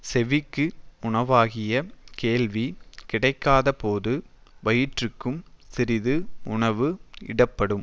செவிக்கு உணவாகிய கேள்வி கிடைக்காதபோது வயிற்றுக்கும் சிறிது உணவு இடப்படும்